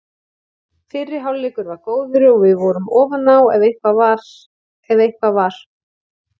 Fyrri hálfleikur var góður og við vorum ofan á ef eitthvað var.